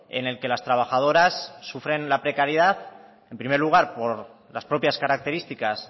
en el que las trabajadoras sufren la precariedad en primer lugar por las propias características